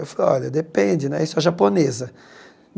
Eu falei, olha, depende né, isso a japonesa.